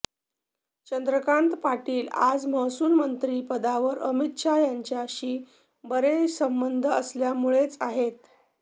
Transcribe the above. चंद्रकांत पाटील आज महसूलमंत्री पदावर अमित शहा यांच्याशी बरे संबंध असल्यामुळेच आहेत